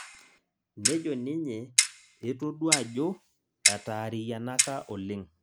nejo ninye etodua ajo etaariyianaka oleng'